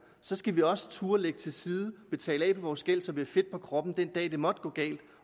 så skal vi også turde lægge til side betale af på vores gæld så vi har fedt på kroppen den dag det måtte gå galt